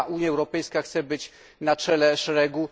Unia Europejska chce być na czele szeregu.